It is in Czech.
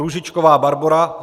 Růžičková Barbora